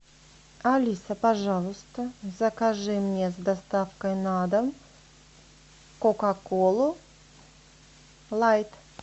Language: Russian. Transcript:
алиса пожалуйста закажи мне с доставкой на дом кока колу лайт